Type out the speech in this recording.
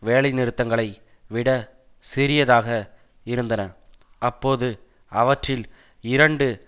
வேலைநிறுத்தங்களை விட சிறியதாக இருந்தன அப்போது அவற்றில் இரண்டு